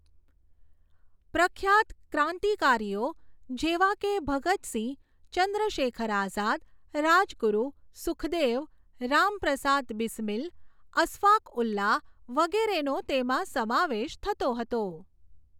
પ્રખ્યાત ક્રાંતિકારીઓ જેવા કે ભગત સિંહ, ચંદ્રશેખર આઝાદ, રાજગુરૂ, સુખદેવ, રામપ્રસાદ બીસ્મીલ, અસ્ફાકઉલ્લા વગેરેનો તેમાં સમાવેશ થતો હતો.